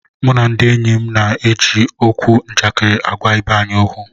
Mụ na ndị enyi m na-eji okwu njakịrị agwa ibe anyị okwu